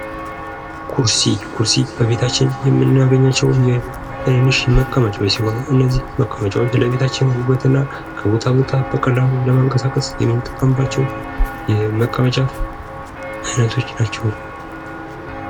ኩርሲ ኩርሲ በቤታችን በቤታችን የምናገኛቸው ትናንሽ መቀመጫዎች ሲሆኑ እነዚህ መቀመጫዎች ለቤታችን ውበትና ከቦታ ቦታ በቀላሉ ለመንቀሳቀስ የምንጠቀምባቸው የመቀመጫ አይነቶች ናቸው።